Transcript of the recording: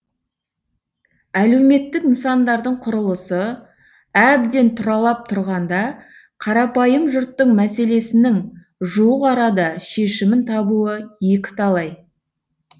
әлеуметтік нысандардың құрылысы әбден тұралап тұрғанда қарапайым жұрттың мәселесінің жуық арада шешімін табуы екіталай